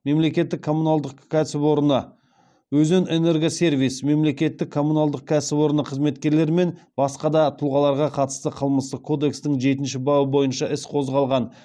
мемлекеттік коммуналдық кәсіпорны өзенэнергосервис мемлекеттік коммуналдық кәсіпорны қызметкерлері мен басқа тұлғаларға қатысты қылмыстық кодекстің жетінші бабы бойынша іс қозғалған